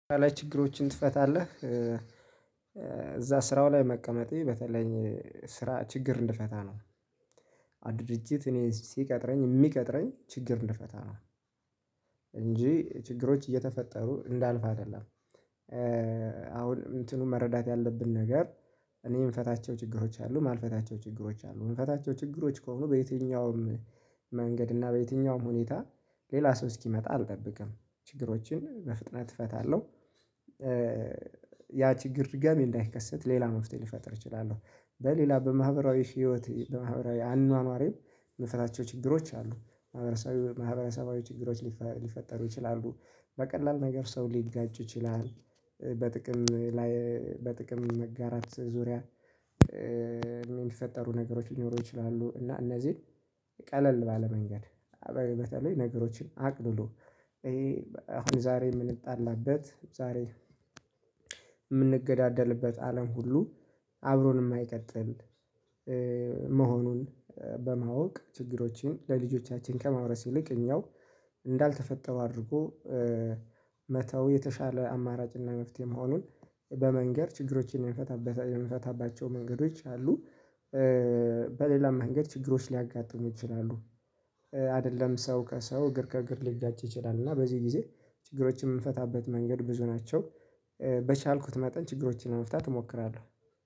ላይ ችግሮችን ትፈታለህ? እዛ ስራው ላይ መቀመጤ በተለይ ስራ ችግር እንድፈታ ነው። ያ ድርጅት እኔ ሲቀጥረኝ እሚቀጥረኝ ችግር እንድፈታ ነው። እንጂ ችግሮች እየተፈጠሩ እንዳልፋ አይደለም። አሁን እንትኑን መረዳት ያለብን ነገር እኔ እምፈታቸው ችግሮች አሉ እማልፈታቸው ችግሮች አሉ እምፈታቸው ችግሮች ከሆኑ በየትኛውም መንገድ እና በየትኛውም ሁኔታ ሌላ ሰው እስኪመጣ አልጠብቅም። ችግሮችን በፍጥነት እፈታለሁ። ያ ችግር ድጋሜ እንዳይከሰት ሌላ መፍትሄ ልፈጥር እችላለሁ። በሌላ በማህበራዊ ህይወት በማህበራዊ አኗኗሬ እምፈታቸው ችግሮች አሉ። ማህበራዊ ማህበረሰባዊ ችግሮች ሊፈጠሩ ይችላሉ። በቀላል ነገር ሰው ሊጋጩ ይችላል። በጥቅም ላይ በጥቅም መጋራት ዙሪያ። እሚፈጠሩ ነገሮች ሊኖሩ ይችላሉ እና እነዚህን ቀለል ባለ መንገድ። በተለይ ነገሮችን አቅልሎ ይሄ አሁን ዛሬ እምንጣላበት ዛሬ እምንገዳደልበት አለም ሁሉ አብሮን እማይቀጥል። መሆኑን በማወቅ ችግሮችን ለልጆቻችን ከማውረስ ይልቅ እኛው እንዳልተፈጠሩ አድርጎ መተው የተሻለ አማራጭና መፍትሄ መሆኑን በመንገር ችግሮችን የምንፈታባቸው መንገዶች አሉ። በሌላም መንገድ ችግሮች ሊያጋጥሙ ይችላሉ። አይደለም ሰው ከሰው እግር ከእግር ሊጋጭ ይችላል እና በዚህ ጊዜ ችግሮችን እምንፈታበት መንገድ ብዙ ናቸው። በቻልኩት መጠን ችግሮችን ለመፍታት እሞክራለሁ